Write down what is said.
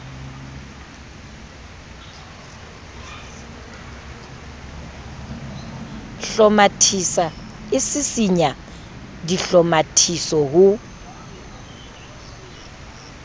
hlomathisa e sisinya dihlomathiso ho